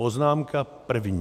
Poznámka první.